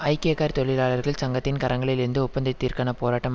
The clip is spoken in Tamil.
ஐக்கிய கார் தொழிலாளர்கள் சங்கத்தின் கரங்களில் இருந்து ஒப்பந்தத்திற்கான போராட்டம்